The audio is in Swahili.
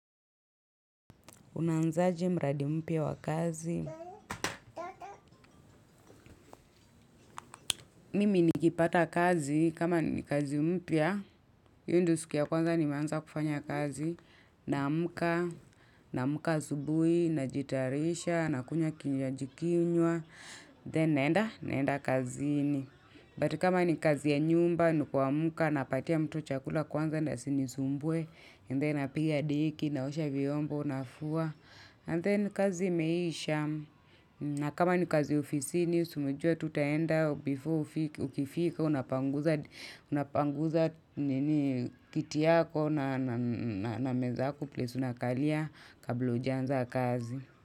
Unaanzaje mradi mpya wa kazi. Mimi nikipata kazi kama ni kazi mpya. Hiyo ndo siki ya kwanza ni meaza kufanya kazi. Naamka, naamka asubuhi, na jitayarisha, na kunywa kinywaji kinywa. Then naenda, naenda kaziini. But kama ni kazi ya nyumba, ni kuamka napatia mtu chakula kwanza, ndio asinisumbue, napiga deki, naosha vyombo, nafua. And then kazi imeisha. Na kama ni kazi ofisini si unajua tu utaenda before ukifika unapanguza kiti yako na meza yako place unakalia kabla hujaanza kazi.